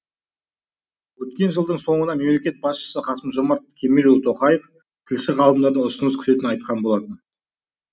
өткен жылдың соңында мемлекет басшысы қасым жомарт кемелұлы тоқаев тілші ғалымдардан ұсыныс күтетінін айтқан болатын